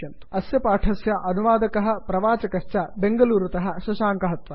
httpspoken tutorialorgNMEICT Intro अस्य पाठस्य अनुवादकः प्रवाचकश्च बेंगलूरुतः शशाङ्कः